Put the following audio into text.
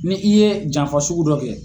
Ni i ye janfa sugu dɔ kɛ